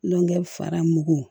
Dɔnkɛ fara mugu